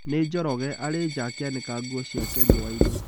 Nĩ Njoroge. Arĩ nja akĩanĩka nguo ciake riũa-inĩ.